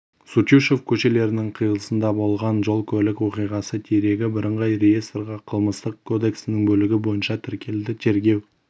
сутюшев көшелерінің қиылысында болған жол-көлік оқиғасы дерегі бірыңғай реестрге қылмыстық кодексінің бөлігі бойынша тіркелді тергеу